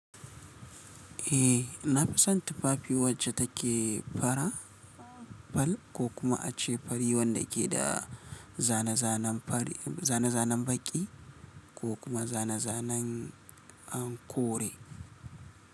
Eh, na fi son tufafi wacce take fara, fal ko kuma ace fari wanda keda zane zane. Zane-zanen baƙi ko kuma zane-zanen an kore.